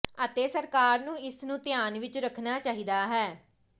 ਅਤੇ ਸਰਕਾਰ ਨੂੰ ਇਸ ਨੂੰ ਧਿਆਨ ਵਿੱਚ ਰੱਖਣਾ ਚਾਹੀਦਾ ਹੈ